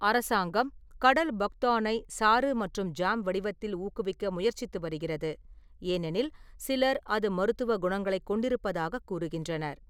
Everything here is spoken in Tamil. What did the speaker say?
அரசாங்கம் கடல் பக்தானை சாறு மற்றும் ஜாம் வடிவத்தில் ஊக்குவிக்க முயற்சித்து வருகிறது, ஏனெனில் சிலர் அது மருத்துவ குணங்களைக் கொண்டிருப்பதாகக் கூறுகின்றனர்.